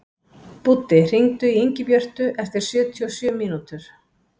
Búddi, hringdu í Ingibjörtu eftir sjötíu og sjö mínútur.